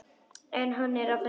En hann er að föndra.